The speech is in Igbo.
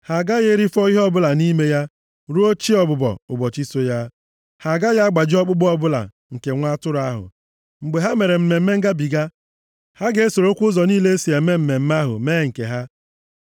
Ha agaghị erifọ ihe ọbụla nʼime ya ruo chi ọbụbọ ụbọchị so ya. Ha agaghị agbaji ọkpụkpụ ọbụla nke nwa atụrụ ahụ. Mgbe ha mere Mmemme Ngabiga, ha ga-esorokwa ụzọ niile e si eme mmemme ahụ mee nke ha.